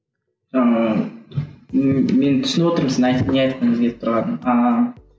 ыыы мен түсініп отырмын сіздің не айтқыңыз келіп тұрғанын ааа